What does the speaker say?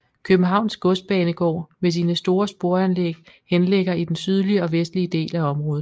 Københavns Godsbanegård med sine store sporanlæg henligger i den sydlige og vestlige del af området